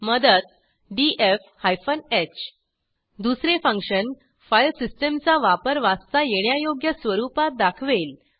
मदत DF hyphen h दुसरे function file सिस्टीमचा वापर वाचता येण्यायोग्य स्वरूपात दाखवेल